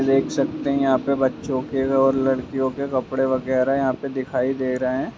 देख सकते हैंयहाँ पे बच्चों के औरलड़कियों के कपड़े वगेरा यहाँ पे दिखाई दे रहे हैं।